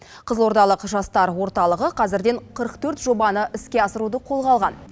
қызылордалық жастар орталығы қазірден қырық төрт жобаны іске асыруды қолға алған